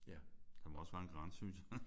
Der må også være en grænse synes jeg